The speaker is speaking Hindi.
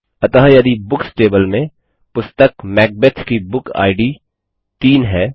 अतः यदि बुक्स टेबल में पुस्तक मैकबेथ की बुक इद 3 है